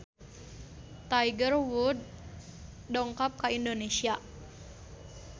Tiger Wood dongkap ka Indonesia